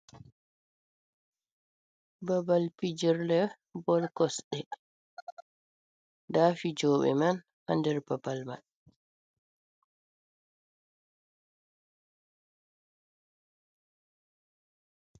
Babal pijirle Bol kosɗe, nda fijoɓe man ha nder babal man.